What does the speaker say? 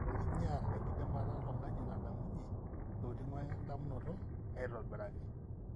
ore ina na kinyial enkidimata oltungani nadamunyie itokitin we damunoto aitobiraki.